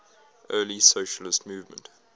early socialist movement